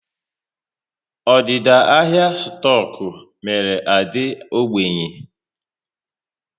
Ọdịda ahịa stoku mere Ade ógbènye